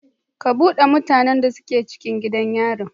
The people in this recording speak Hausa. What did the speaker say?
Ku bude mutanan da suke cikin gidan yari.